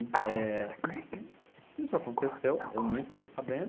Eh... e de e isso aconteceu, eu nem fiquei sabendo.